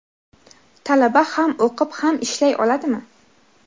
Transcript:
Talaba ham o‘qib, ham ishlay oladimi?.